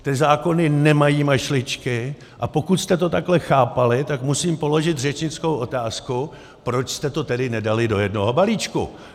Ty zákony nemají mašličky, a pokud jste to takhle chápali, tak musím položit řečnickou otázku: Proč jste to tedy nedali do jednoho balíčku?